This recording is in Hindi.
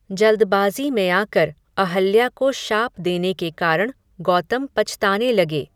जल्दबाज़ी में आकर, अहल्या को शाप देने के कारण, गौतम पछताने लगे